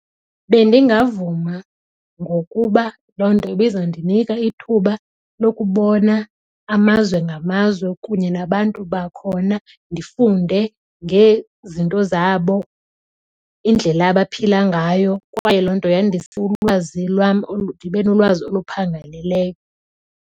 Bendingavuma ngokuba loo nto ibizawundinika ithuba lokubona amazwe ngamazwe kunye nabantu bakhona ndifunde ngezinto zabo, indlela abaphila ngayo kwaye loo nto yandise ulwazi lwam ndibe nolwazi oluphangaleleyo.